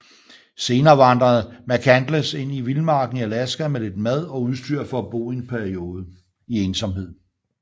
Siden vandrede McCandless ind i vildmarken i Alaska med lidt mad og udstyr for at bo en periode i ensomhed